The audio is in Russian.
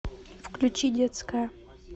включи детская